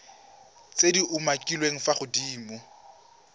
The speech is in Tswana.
tse di umakiliweng fa godimo